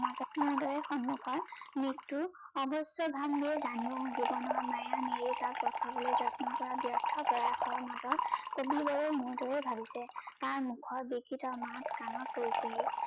সন্মোখত মৃত্যু অৱশ্যে জানিও জীৱনৰ মায়া বচাবলৈ যত্ন কৰা ব্যৰ্থ প্ৰয়াসৰ মাজত কবিবোৰে মোৰ দৰেই ভাবিছে তাৰ মোখৰ বৃক্ৰিত মাত কানত পৰিছেহি